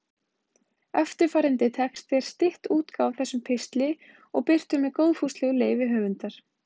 Eftirfarandi texti er stytt útgáfa af þessum pistli og birtur með góðfúslegu leyfi höfundar.